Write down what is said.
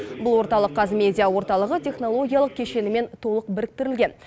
бұл орталық қазмедиа орталығы технологиялық кешенімен толық біріктірілген